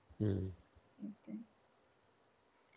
হম